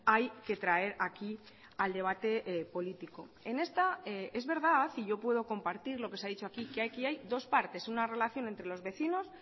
hay que traer aquí al debate político en esta es verdad y yo puedo compartir lo que se ha dicho aquí que aquí hay dos partes una relación entre los vecinos